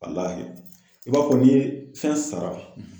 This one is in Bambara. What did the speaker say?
i b'a fɔ ni fɛn sara